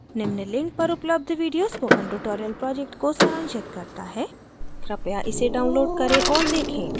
निम्न link पर उपलब्ध video spoken tutorial project को सारांशित करता है कृपया इसे download करें औऱ देखें